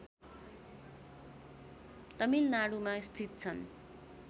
तमिलनाडुमा स्थित छन्